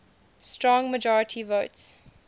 strong majority votes